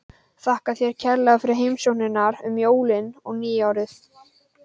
Þakka þér kærlega fyrir heimsóknirnar um jólin og nýárið.